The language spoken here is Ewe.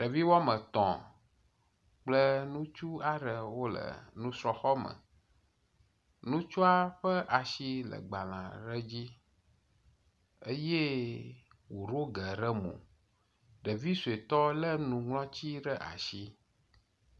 Ɖevi woame tɔ̃ kpũle nutsu aɖe wole nusrɔ̃xɔ me. Nutsua ƒe asi le gbalẽ aɖe dzi eye wòɖo ge ɖe mo, ɖevi sɔetɔ lé nuŋlɔti ɖe asi.